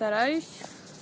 стараюсь